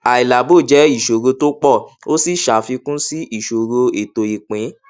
àìlábò jẹ ìṣòro tó pọ ó sì ṣàfikún sí ìṣòro ètò ìpín